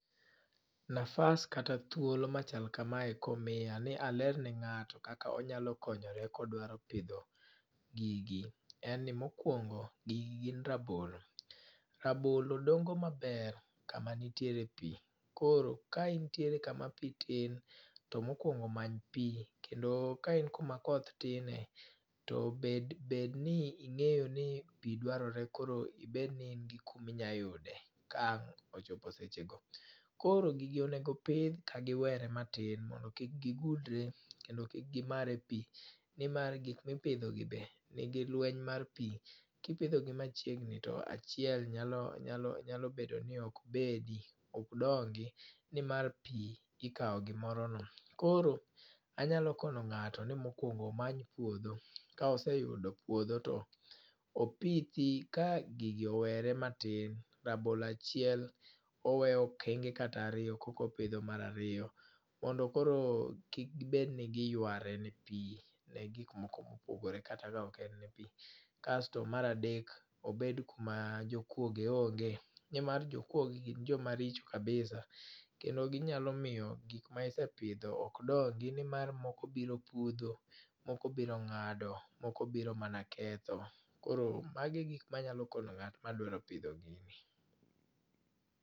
Nafas kata thuolo machal kamae ka omiya ni aler ne ngáto kaka onyalo konyore ka odwaro pidho gigi. En ni mokwongo, gigi gin rabolo. Rabolo dongo maber kama nitiere pi, koro ka intiere kama pi tin, to mokwongo many pi. Kendo ka in koma koth tine, to bed, bed ni ngéyo ni pi dwarore koro ibed ni in gi kama pi inyalo yude, kawang' ochopo seche go. Koro gigi onego pidh ka giwere matin mondo kik gigudre, kendo kik gimare pi. Nimar gik mipidho gi be nigi lweny mar pi. Kipidho gi machiegni to achiel nyalo, nyalo, nyalo bedo ni okbedi, okdongi, nimar pi ikawo gi moro no. Koro anyalo kono ngáto ni mokwongo omany puodho. Ka oseyudo puodho to opithi ka gigi owere matin. Rabolo achiel oweyo okenge kata ariyo e koka opidho mar ariyo. Mondo koro kik gibedi ni giyware ne pi, ne gik moko mopogore kata ka ok en pi. Kasto mar adek obed kuma jokwoge onge. Nemar jokwoge gin joma richo kabisa, kendo ginyalo miyo gik ma isepidho ok dongi, ni mar moko biro pudho, moko biro ngádo, moko biro manaketho. Koro mago e gik ma anyalo kono ngát ma dwaro pidho gini.